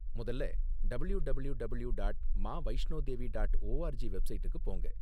முதல்ல W W W dot Maa Vaishno Devi dot O R G வெப்சைடுக்கு போங்க.